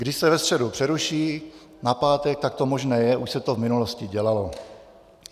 Když se ve středu přeruší na pátek, tak to možné je, už se to v minulosti dělalo.